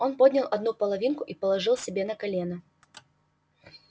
он поднял одну половинку и положил себе на колено